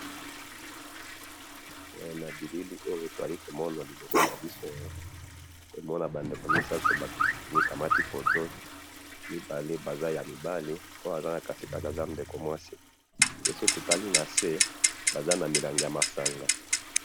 Na moni mibali mibale na mwasi na kati, soki otali na se baza na milangi ya masanga.